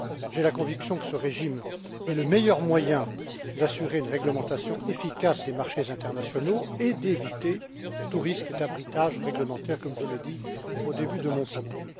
J'ai la conviction que ce régime est le meilleur moyen d'assurer une réglementation efficace des marchés internationaux et d'éviter tout risque d'arbitrage réglementaire, comme je l'ai dit au début de mon propos.